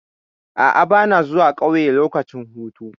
A'a, ba na zuwa ƙauye lokacin hutu.